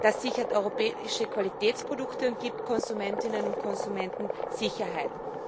Das sichert europäische Qualitätsprodukte und gibt Konsumentinnen und Konsumenten Sicherheit.